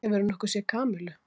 Hefurðu nokkuð séð Kamillu?